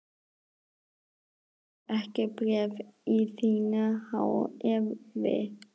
Ég á ekki bréf í þínu há effi.